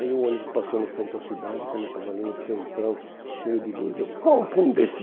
Aí o ônibus passou no centro da cidade, quando eu estava ali no centrão, cheio de luz, eu pum, pum, desci.